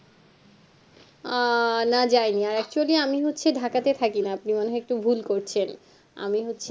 আহ না যায়নি আর actually আমি হচ্ছি Dhaka তে থাকিনা আপনি মনে হয় একটু ভুল করছেন আমি হচ্ছে